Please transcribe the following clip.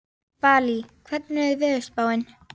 Valý, hvernig er veðurspáin?